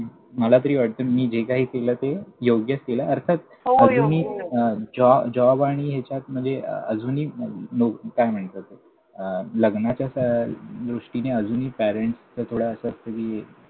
मला तरी वाटतं, मी जे काही केलं ते योग्यच केलं अर्थात. होय हो! आधी मी जॉ job आणि ह्याच्यात म्हणजे अजूनही लोक काय म्हणतात अं लग्नाच्या दृष्टीने अजूनही पॅरेंट्सचं थोडं असं असतं कि,